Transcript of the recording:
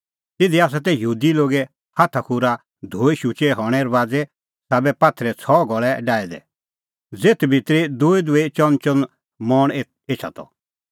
तिधी तै यहूदी लोगे हाथाखूरा धोई शुचै हणें रबाज़े साबै पात्थरे छ़ह घल़ै डाहै दै ज़ेथ भितरी दूईदूई चअनचअन मण एछा त